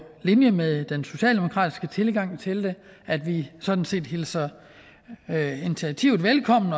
linje med den socialdemokratiske tilgang til det at vi sådan set hilser initiativet velkommen